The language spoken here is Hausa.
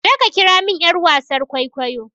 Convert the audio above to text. je ka kira min yar wasan kwaikwayo!